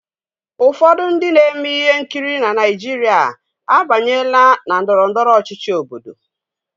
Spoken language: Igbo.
Ụfọdụ ndị na-eme ihe nkiri na Naịjirịa abanyela na ndọrọ ndọrọ ọchịchị Obodo.